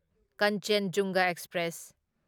ꯀꯟꯆꯦꯟꯖꯨꯟꯒ express